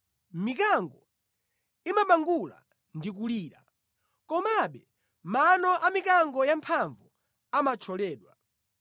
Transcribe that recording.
Mikango imabangula ndi kulira, komabe mano a mikango yamphamvu amathyoledwa.